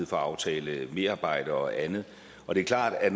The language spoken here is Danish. for at aftale merarbejde og andet og det er klart at